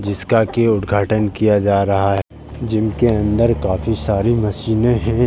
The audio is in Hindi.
जिसका कि उद्घाटन किया जा रहा है। जिम के अंदर काफी सारी मशीनें हैं।